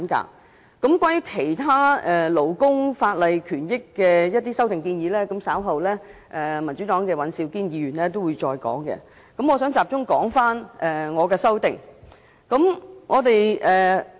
至於有關其他勞工權益法例的修訂建議，民主黨的尹兆堅議員稍後會再詳細闡述，在此我會集中討論我的修正案。